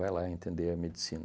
Vai lá entender a medicina.